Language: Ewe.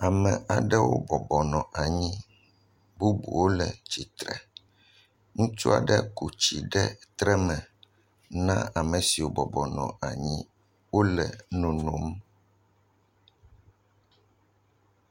Ame aɖewo bɔbɔ nɔ anyi. Bubuwo le tsitre. Ŋutsu aɖe ko tsi ɖe tre me na ame siwo bɔbɔ nɔ anyi wole nonom.